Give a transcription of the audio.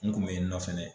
N kun be yennɔ fɛnɛ